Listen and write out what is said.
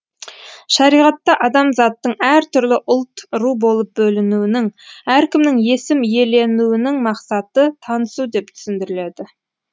шариғатта адамзаттың әртүрлі ұлт ру болып бөлінуінің әркімнің есім иеленуінің мақсаты танысу деп түсіндіріледі